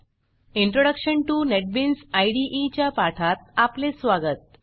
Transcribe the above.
introduction to NetBeans इदे च्या पाठात आपले स्वागत